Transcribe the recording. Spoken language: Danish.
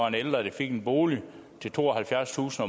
en ældre der fik en bolig til tooghalvfjerdstusind